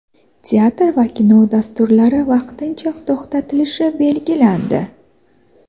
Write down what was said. teatr va kino dasturlari vaqtincha to‘xtatilishi belgilandi.